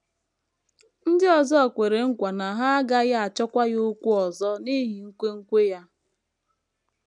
Ndị ọzọ kwere nkwa na ha agaghị achọkwa ya okwu ọzọ n’ihi nkwenkwe ya.